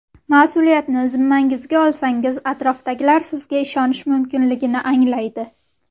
Mas’uliyatni zimmangizga olsangiz atrofdagilar sizga ishonish mumkinligini anglaydi.